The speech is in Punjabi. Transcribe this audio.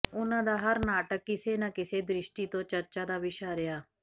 ਉਨ੍ਹਾਂ ਦਾ ਹਰ ਨਾਟਕ ਕਿਸੇ ਨਾ ਕਿਸੇ ਦ੍ਰਿਸ਼ਟੀ ਤੋਂ ਚਰਚਾ ਦਾ ਵਿਸ਼ਾ ਰਿਹਾ